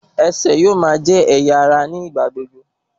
Ẹsẹ̀ yóò máa jẹ́ ẹ̀yà ara ní ìgbà gbogbo